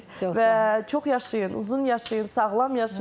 Və çox yaşayın, uzun yaşayın, sağlam yaşayın.